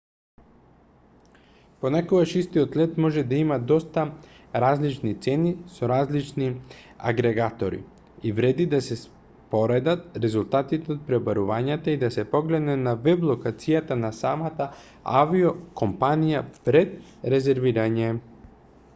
понекогаш истиот лет може да има доста различни цени со различни агрегатори и вреди да се споредат резултати од пребарување и да се погледне на веб-локацијата на самата авиокомпанија пред резервирање